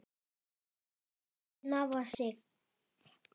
ekki er síldin afar stygg